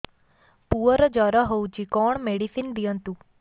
ପୁଅର ଜର ହଉଛି କଣ ମେଡିସିନ ଦିଅନ୍ତୁ